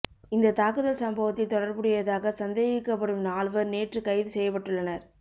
இந்த தாக்குதல் சம்பவத்தில் தொடர்புடையதாக சந்தேகிக்கப்படும் நால்வர் நேற்று கைது செய்யப்பட்டுள்ளனர்